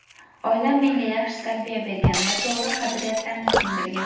Oilam menga yaxshi tarbiya bergan va to‘g‘ri qadriyatlarni singdirgan.